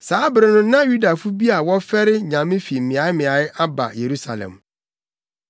Saa bere no na Yudafo bi a wɔfɛre Nyame fi mmeaemmeae aba Yerusalem.